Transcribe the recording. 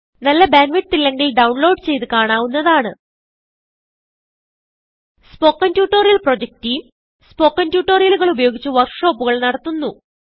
നല്ല bandwidth ഇല്ലെങ്കിൽ download ചെയ്ത് കാണാവുന്നതാണ് spoken tutorial project team spoken ട്യൂട്ടോറിയലുകൾ ഉപയോഗിച്ച് വർക്ക് ഷോപ്പുകൾ നടത്തുന്നു